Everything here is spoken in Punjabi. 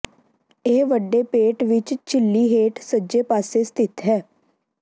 ਇਹ ਵੱਡੇ ਪੇਟ ਵਿਚ ਝਿੱਲੀ ਹੇਠ ਸੱਜੇ ਪਾਸੇ ਸਥਿਤ ਹੈ